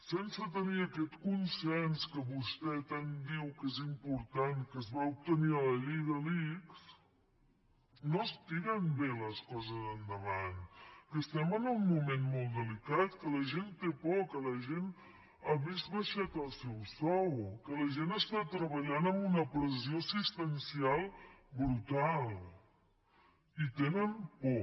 sense tenir aquest consens que vostè tant diu que és important que es va obtenir en la llei de l’ics no es tiren bé les coses endavant que estem en un moment molt delicat que la gent té por que la gent ha vist abaixat el seu sou que la gent està treballant amb una pressió assistencial brutal i tenen por